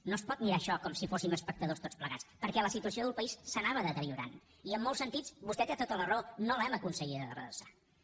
no es pot mirar això com si fóssim espectadors tots plegats perquè la situació del país s’anava deteriorant i en molts sentits vostè té tota la raó no l’hem aconseguida redreçar